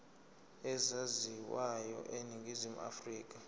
ezaziwayo eningizimu afrika